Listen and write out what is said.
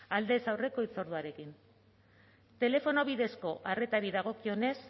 aldez aurreko hitzorduarekin telefono bidezko arretari dagokionez